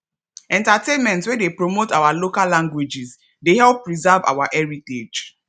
entertainment wey dey promote our local languages dey help preserve our heritage